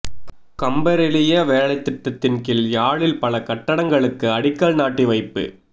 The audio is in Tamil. கம்பரெலிய வேலைத்திட்டத்தின் கீழ் யாழில் பல கட்டடங்களுக்கு அடிக்கல் நாட்டி வைப்பு